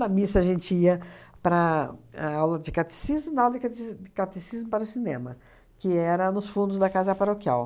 Da missa, a gente ia para a aula de catecismo e na aula de catec de catecismo para o cinema, que era nos fundos da casa paroquial.